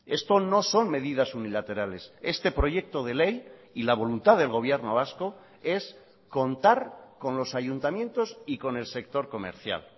esto no son medidas unilaterales este proyecto de ley y la voluntad del gobierno vasco es contar con los ayuntamientos y con el sector comercial